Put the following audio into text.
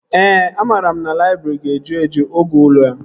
Ee, amara m na laịbrị ga-eju eju oge ule a